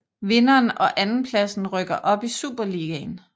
Vinderen og andenpladsen rykker op i Superligaen